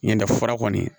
Ɲindɛ fara kɔni